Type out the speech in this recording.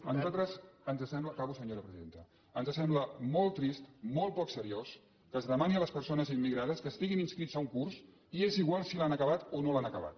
a nosaltres ens sembla acabo senyora presidenta molt trist molt poc seriós que es demani a les per·sones immigrades que estiguin inscrits a un curs i és igual si l’han acabat o no l’han acabat